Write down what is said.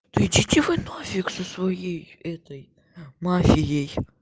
идите вы нафиг со своей этой мафией